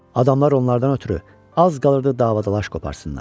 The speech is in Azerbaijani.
Adamlar onlardan ötrü az qalırdı dava dalaş qopartsınlar.